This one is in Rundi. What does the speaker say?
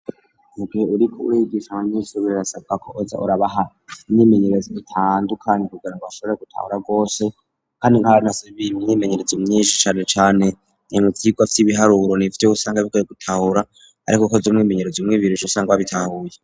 Mu gihe uriko urigisha abanyeshure birasabwa ko uza urabaha imyimenyerezo itandukanye kugira ngo bashobora gutahura gose, kandi nk'abana baronse imyimenyerezo myinshi canecane mu vyigwa vy'ibiharuro nivyo usanga bigoye gutahura, ariko ukoze umwimenyerezo umwe, ibiri, uca usanga wabitahuye.